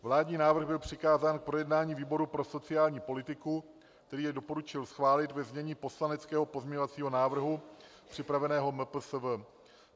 Vládní návrh byl přikázán k projednání výboru pro sociální politiku, který jej doporučil schválit ve znění poslaneckého pozměňovacího návrhu připraveného MPSV.